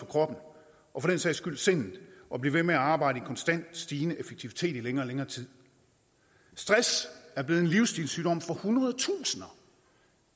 for og for den sags skyld sindet at blive ved med at arbejde konstant stigende effektivitet i længere og længere tid stress er blevet en livsstilssygdom for hundredetusinder